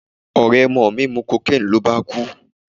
Ọ̀rẹ́ ọmọ mi mu cocaine ló bá kú.